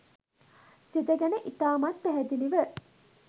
සිත ගැන ඉතාමත් පැහැදිලිව